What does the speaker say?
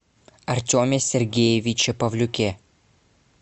артеме сергеевиче павлюке